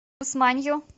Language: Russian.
усманью